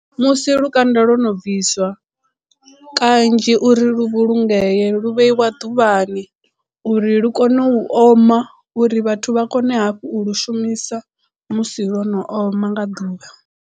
Musi lukanda lwo no bviswa kanzhi uri lu vhulungee lu vheiwa ḓuvhani uri lu kone u oma uri vhathu vha kone hafhu u lu shumisa musi lwo no oma nga ḓuvha.